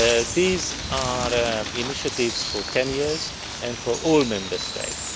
These are initiatives for 10 years and for all Member States.